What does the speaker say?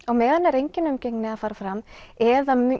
á meðan er engin umgengni að fara fram eða